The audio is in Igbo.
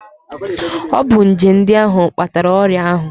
Ọ bụ nje ndị ahụ kpatara ọrịa ahụ